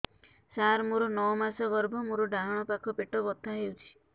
ସାର ମୋର ନଅ ମାସ ଗର୍ଭ ମୋର ଡାହାଣ ପାଖ ପେଟ ବଥା ହେଉଛି